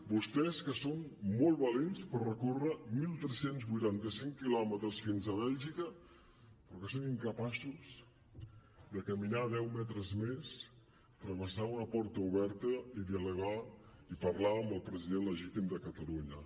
vostès que són molt valents per recórrer tretze vuitanta cinc quilòmetres fins a bèlgica però que són incapaços de caminar deu metres més travessar una porta oberta i dialogar i parlar amb el president legítim de catalunya